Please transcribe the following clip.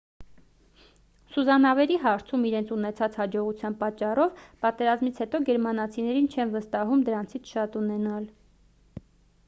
սուզանավերի հարցում իրենց ունեցած հաջողության պատճառով պատերազմից հետո գերմանացիներին չեն վստահում դրանցից շատ ունենալ